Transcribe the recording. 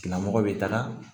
Tigilamɔgɔ bɛ taga